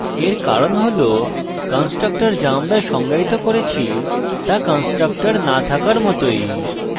এর কারণ হল constructor যা আমরা সংজ্ঞায়িত করেছি তা constructor no থাকার মতই